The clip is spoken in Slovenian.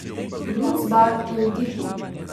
Bruc Bar je utihnil.